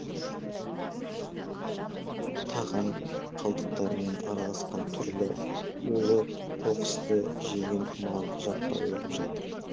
тағам қалдықтарымен араласқан түрлі улы қоқысты жеген мал жаппай өліп жатыр